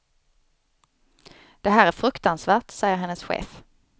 Det här är fruktansvärt, säger hennes chef.